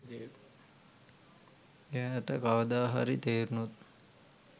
එයාට කවදා හරි තේරුනොත්